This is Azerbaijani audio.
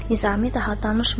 Nizami daha danışmadı.